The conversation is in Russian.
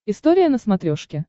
история на смотрешке